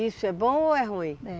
Isso é bom ou é ruim? É